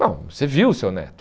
Não, você viu o seu neto.